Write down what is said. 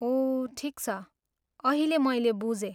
ओह ठिक छ, अहिले मैले बुझेँ।